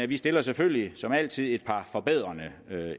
vi stiller selvfølgelig som altid et par forbedrende